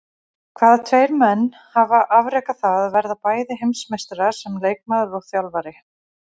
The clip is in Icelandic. Hvaða tveir menn hafa afrekað það að verða bæði heimsmeistarar sem leikmaður og þjálfari?